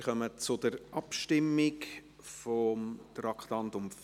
Wir kommen zur Abstimmung zum Traktandum 44.